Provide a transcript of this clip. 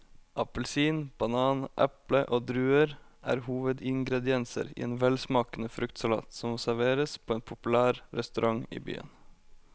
Appelsin, banan, eple og druer er hovedingredienser i en velsmakende fruktsalat som serveres på en populær restaurant i byen.